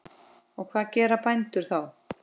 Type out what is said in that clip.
Og hvað gera bændur þá?